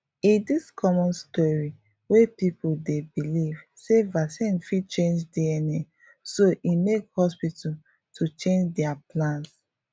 e this common story wey people dey believe sey vaccine fit change dna so e make hospital to change dia plans